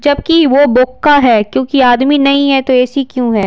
जबकि वो बोक्का है क्योंकि आदमी नहीं है तो ऐसी क्यों है।